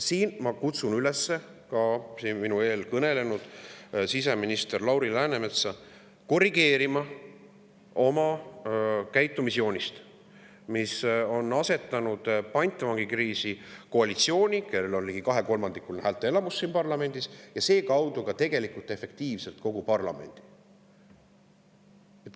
Siin ma kutsun üles enne mind kõnelenud siseminister Lauri Läänemetsa korrigeerima oma käitumisjoonist, mille tõttu on efektiivses pantvangis koalitsioon, kellel on ligi kahekolmandikuline häälteenamus siin parlamendis, aga seekaudu tegelikult kogu parlament.